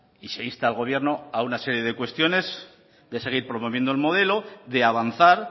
y se insta al gobierno a una serie de cuestiones de seguir promoviendo el modelo de avanzar